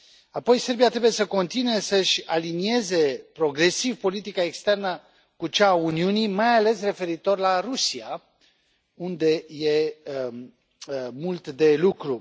Apoi, Serbia trebuie să continue să își alinieze progresiv politica externă cu cea a Uniunii, mai ales referitor la Rusia, unde e mult de lucru.